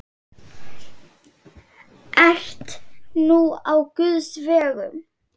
Ert nú á guðs vegum.